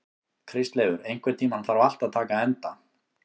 Kristleifur, einhvern tímann þarf allt að taka enda.